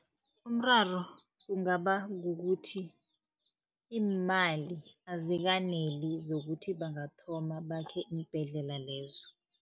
Umraro ungaba kukuthi iimali azikaneli, zokuthi bangathoma bakhe iimbhedlela lezo.